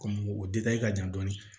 o ka jan dɔɔnin